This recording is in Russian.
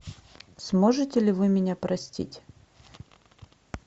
сможете ли вы меня простить